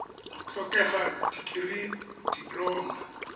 go tlhokega dikirii dipoloma